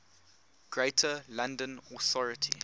greater london authority